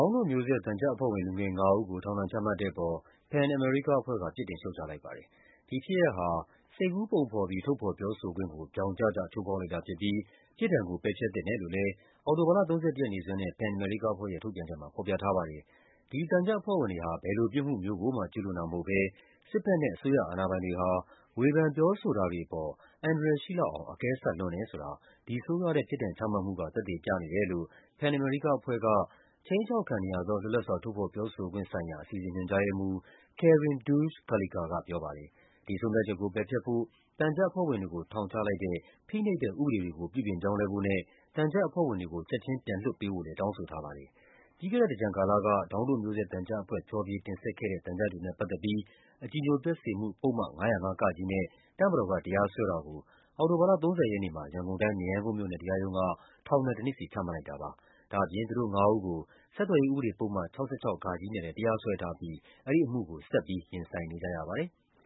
င်းတို့မျိုးဆက် သံချပ်အဖွဲ့ဝင် လူငယ် ၅ ဦးကို ထောင်ဒဏ်ချမှတ်တဲ့အပေါ် PEN America အဖွဲ့က ပြစ်တင်ရှုတ်ချလိုက်ပါ တယ်။ ဒီဖြစ်ရပ်ဟာ စိတ်ကူးပုံဖော်ပြီး ထုတ်ဖော်ပြောဆိုခွင့်ကို ဗြောင်ကျကျ ချိုးဖောက်လိုက်တာဖြစ်ပြီး ပြစ်ဒဏ်ကို ပယ်ဖျက်သင့် တယ်လို့လည်း အောက်တိုဘာလ ၃၁ ရက်နေ့စွဲနဲ့ PEN America အဖွဲ့ရဲ့ ထုတ်ပြန်ချက်မှာ ဖော်ပြထားပါတယ်။ ဒီသံချပ်အဖွဲ့ဝင်တွေဟာ ဘယ်လိုပြစ်မှုမျိုးကိုမှ ကျူးလွန်တာမဟုတ်ဘဲ စစ်ဘက်နဲ့ အစိုးရအာဏာပိုင်တွေဟာ ဝေဖန်ပြောဆိုတာ တွေအပေါ် အန္တရာယ်ရှိလောက်အောင် အကဲဆတ်လွန်းတယ်ဆိုတာ ဒီဆိုးရွားတဲ့ ပြစ်ဒဏ်ချမှတ်မှုက သက်သေပြနေတယ်လို့ PEN America အဖွဲ့က ခြိမ်းခြောက်ခံနေရသော လွတ်လပ်စွာ ထုတ်ဖော်ပြောဆိုခွင့်ဆိုင်ရာ အစီအစဉ် ညွှန်ကြားရေးမှူး Karin Deutsch Karlekar ကပြောပါတယ်။ ဒီဆုံးဖြတ်ချက်ကို ပယ်ဖျက်ဖို့၊ သံချပ်အဖွဲ့ဝင်တွေကို ထောင်ချလိုက်တဲ့ ဖိနှိပ်တဲ့ ဥပဒေတွေ ကို ပြုပြင်ပြောင်းလဲဖို့နဲ့ သံချပ်အဖွဲ့ဝင်တွေကို ချက်ခြင်းပြန်လွှတ်ပေးဖို့လည်း တောင်းဆိုထားပါတယ်။ ပြီးခဲ့တဲ့သင်္ကြန်ကာလက ဒေါင်းတို့မျိုးဆက် သံချပ်အဖွဲ့ ဖျော်ဖြေတင်ဆက်ခဲ့တဲ့ သံချပ်တွေနဲ့ပတ်သက်ပြီး အကြည်ညိုပျက်စေမှု ပုဒ်မ ၅၀၅ နဲ့ တပ်မတော်က တရားစွဲတာကို အောက်တိုဘာလ ၃၀ ရက်နေ့မှာ ရန်ကုန်တိုင်း၊ မရမ်းကုန်းမြို့နယ်တရားရုံးက ထောင်ဒဏ် ၁ နှစ်စီ ချမှတ်လိုက်တာပါ။ ဒါ့အပြင် သူတို့ငါးဦးကို ဆက်သွယ်ရေး ဥပဒေပုဒ်မ ၆၆ နဲ့လည်း တရားစွဲထားပြီး အဲဒီအမှုကို ဆက်ပြီး ရင်ဆိုင်နေကြရပါ တယ်။